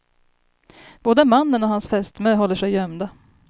Både mannen och hans fästmö håller sig gömda.